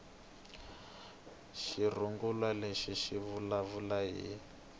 xirungulwana lexi xi vulavula hi